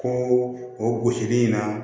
Ko o gosili in na